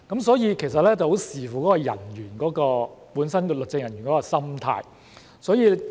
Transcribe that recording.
所以，其實很視乎那名律政人員本身的心態。